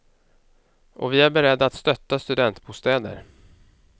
Och vi är beredda att stötta studentbostäder.